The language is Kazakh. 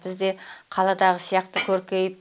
біз де қаладағы сияқты көркейіп